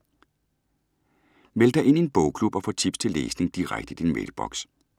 Meld dig ind i en bogklub og få tips til læsning direkte i din mailboks.